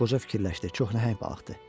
Qoca fikirləşdi, çox nəhəng balıqdır.